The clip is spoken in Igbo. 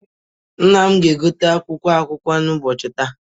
Nna m na-egote akwụkwọ akụkọ nke ụbọchị taa.